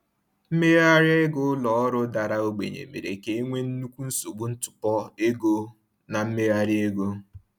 Mmegharị ego ụlọ ọrụ dara ogbenye mere ka e nwee nnukwu nsogbu ntụpọ ego na mmegharị ego.